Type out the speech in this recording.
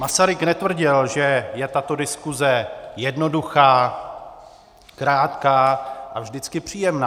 Masaryk netvrdil, že je tato diskuse jednoduchá, krátká a vždycky příjemná.